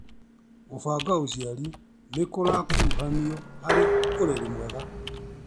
Gũbanga ũciari nĩkũrakuruhanio harĩ ũreri mwega